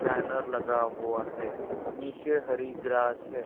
Banner लगा हुआ है नीचे हरि ग्रास है।